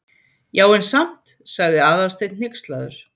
Já, en samt- sagði Aðalsteinn hneykslaður.